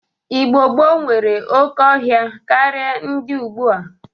Igbo gboo nwere oke ọhịa karị ndị ọgbọ a.